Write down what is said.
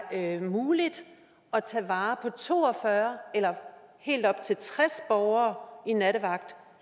muligt at tage vare på to og fyrre eller helt op til tres borgere i en nattevagt